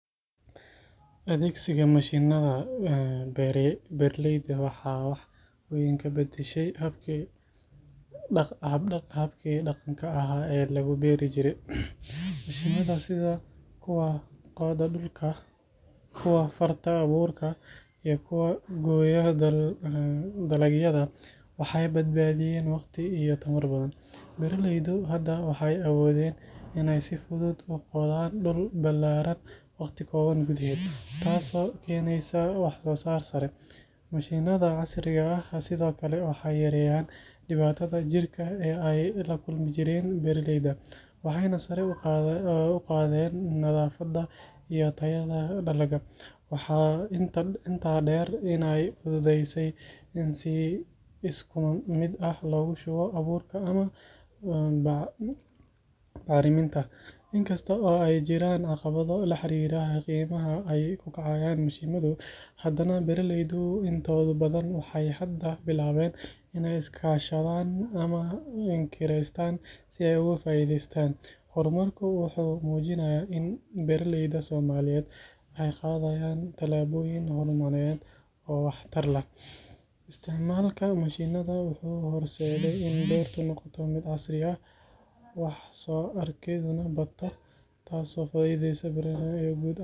Adhegsiga mashinaada beera leyda waxee wax weyn ka badashe daqanka oo farta aburka waxee bad badiyen, beera leydu hada waxee awodhen in ee qodhan dul balaran tas oo keneysa wax sosar sare mashinaada casriga ah waxee sithokale keneyan diwataada jirka ee lakulmi jiren beera leyda nadhafaada iyo dalaga, in kasto ee jiran caqawadho hormarku wuxuu mujinaya isticmalka mashinaada in beerta noqota miid casri ah.